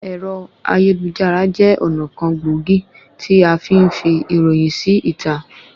Ẹ̀rọ ayélujára jẹ́ ọ̀nà kan gbòógì tí afí ń fi ìròyìn sí ìta